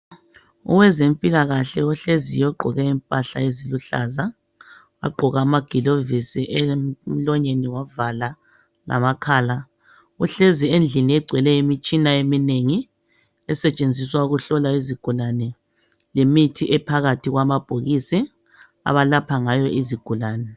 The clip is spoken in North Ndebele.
Owezempilakahle ohleziyo ogqoke impahla eluhlaza wagqoka amagilovisi emlonyeni wavala lamakhala uhlezi endlini engcwele imitshina eminengi esentshenziswa ukuhlola zigulane lemithi ebhakathi kwamabhokisi abalapha ngayo izigulani